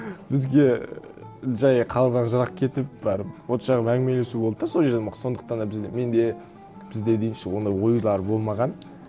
бізге ііі жай қалған жырақ кетіп барып от жағып әңгімелесу болды да сол жерден ақ сондықтан да менде бізде дейінші ондай ойлар болмаған